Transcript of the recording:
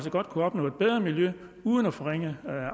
godt kunne opnå et bedre miljø uden at forringe